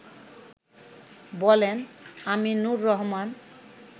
বলেন আমিনুর রহমান